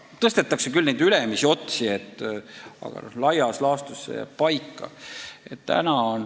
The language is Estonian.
Tõstetakse küll ülemisi määrasid, aga laias laastus see jääb paika.